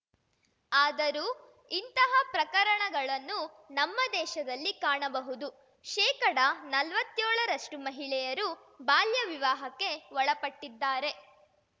ಆದರೂ ಇಂತಹ ಪ್ರಕರಣಗಳನ್ನು ನಮ್ಮ ದೇಶದಲ್ಲಿ ಕಾಣಬಹುದು ಶೇಕಡನಲ್ವತ್ಯೋಳರಷ್ಟುಮಹಿಳೆಯರು ಬಾಲ್ಯ ವಿವಾಹಕ್ಕೆ ಒಳಪಟ್ಟಿದ್ದಾರೆ